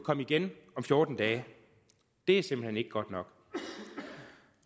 komme igen om fjorten dage det er simpelt hen ikke godt nok